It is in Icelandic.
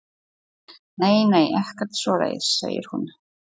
Nei, nei, ekkert svoleiðis, segir hún.